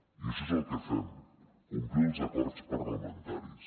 i això és el que fem complir els acords parlamentaris